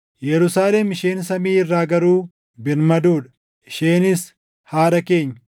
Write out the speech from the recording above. Yerusaalem isheen samii irraa garuu birmaduu dha; isheenis haadha keenya.